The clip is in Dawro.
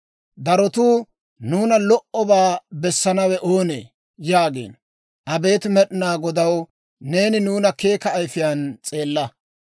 Darotuu, «Nuuna lo"obaa bessanawe oonee?» yaagiino. Abeet Med'inaa Godaw, neeni nuuna keeka ayifiyaan s'eella.